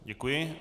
Děkuji.